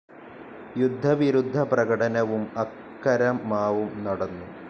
യുദ്ധവിരുദ്ധ പ്രകടനവും അക്കരമാവും നടന്നു.